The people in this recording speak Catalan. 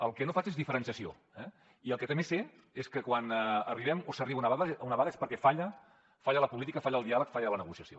el que no faig és diferenciació eh i el que també sé és que quan arribem o s’arriba a una vaga és perquè falla la política falla el diàleg falla la negociació